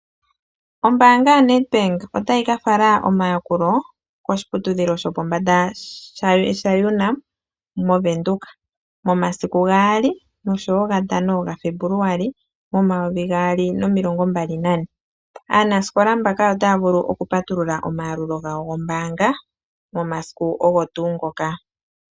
Ombaanga yaNedbank otayi ka fala omayakulo koshiputudhilo shopombanda shaUNAM mOvenduka. Momasiku gaali noshowo gatano gaFebuluali momumvo omayovi gaali nomilongo mbali nane. Aanasikola mbaka otaya vulu okupatulula omayalulo gawo gombaanga momasiku ogo tuu ngoka.